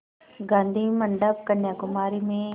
गाधी मंडपम् कन्याकुमारी में